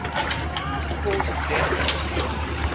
cause of death disputed